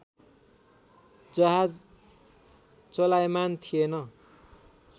जहाज चलायमान थिएन